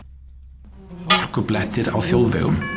Hálkublettir á þjóðvegum